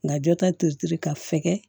Nka jɔ ta teri ka fɛɛrɛ